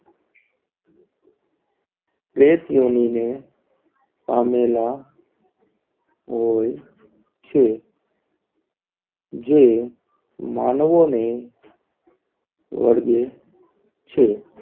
પામેલા હોય છે જે માનવો ને વળગે છે.